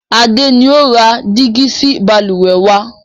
Adé ni ó ra dígí sì Balùwẹ́ wàá.